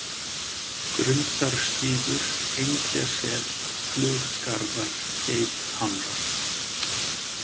Grundarstígur, Engjasel, Fluggarðar, Geithamrar